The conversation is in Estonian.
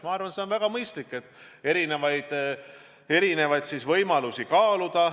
Ma arvan, et on väga mõistlik kaaluda erinevaid võimalusi.